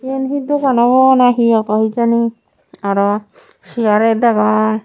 iyan he dogan obo na he obo hejani aro chair degong.